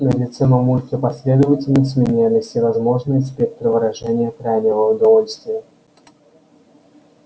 на лице мамульки последовательно сменялись всевозможные спектры выражения крайнего удовольствия